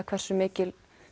hversu mikill